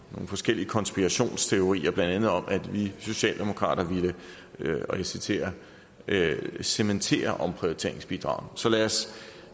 nogle forskellige konspirationsteorier blandt andet om at vi socialdemokrater ville og jeg citerer cementere omprioriteringsbidraget så lad os